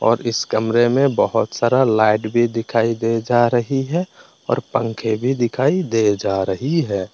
और इस कमरे में बहुत सारा लाइट भी दिखाई दे जा रही है और पंखे भी दिखाई दे जा रही है।